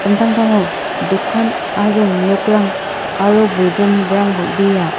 samtangtango dokan aro nokrang aro bolgrimrang bang·bea.